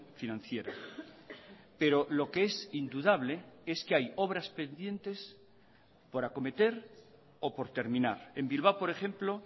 financiera pero lo que es indudable es que hay obras pendientes por acometer o por terminar en bilbao por ejemplo